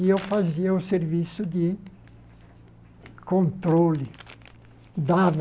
E eu fazia o serviço de controle, dava...